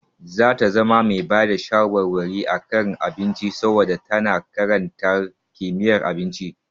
Za ta zama mai bada shawarwari a kan abinci saboda tana karantar kimiyyar abinci.